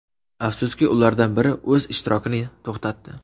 Afsuski, ulardan biri o‘z ishtirokini to‘xtatdi.